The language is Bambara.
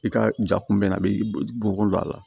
I ka ja kun bɛ a bɛ bɔkolo don a la